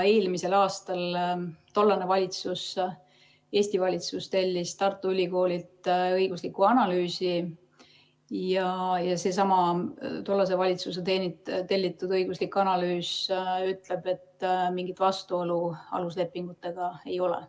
Eelmisel aastal tellis tollane Eesti valitsus Tartu Ülikoolilt õigusliku analüüsi ja seesama tollase valitsuse tellitud õiguslik analüüs ütleb, et mingit vastuolu aluslepingutega ei ole.